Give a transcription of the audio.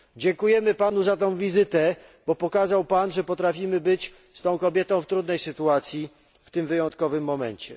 Dziękujemy Panu za tę wizytę, bo pokazał Pan, że potrafimy być z tą kobietą w trudnej sytuacji w tym wyjątkowym momencie.